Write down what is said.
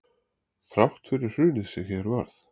Þrátt fyrir hrunið sem hér varð